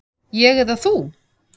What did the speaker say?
Ég eða þú?